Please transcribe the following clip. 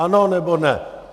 Ano, nebo ne?